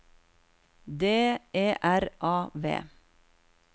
D E R A V